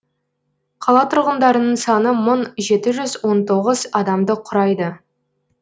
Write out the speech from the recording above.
қала тұрғындарының саны мың жеті жүз он тоғыз адамды құрайды